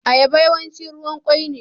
Ayaba yawanci ruwan kwoi ne.